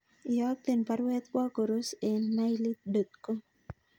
Iyokten baruet kwo Koros en mailit dot com